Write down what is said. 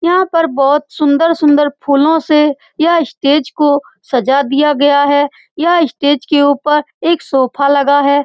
यहाँ पर बहुत सुन्दर-सुन्दर फूलों से यह स्टेज को सजा दिया गया है यह स्टेज के उपर एक सोफ़ा लगा है।